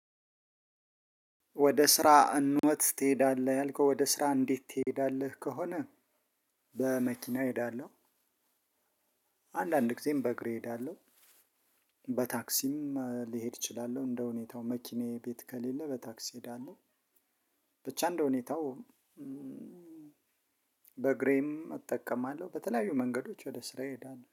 ወደ ስራ እንዴት ትሄዳለህ? ያልከው ወደ ስራ እንዴት ትሄዳለህ ከሆነ በመኪና እሄዳለሁ። አንዳንድ ጊዜም በእግሬ እሄዳለሁ። በታክሲም ልሄድ እችላለሁ እንደሁኔታው መኪናዬ ቤት ከሌለ በታክሲ ሄዳለሁ። ብቻ እንደሁኔታው በእግሬም እጠቀማለሁ። በተለያዩ መንገዶች ወደ ስራ እሄዳለሁ